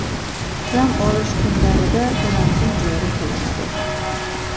dam olish kunlarida karantin joriy qilinadi.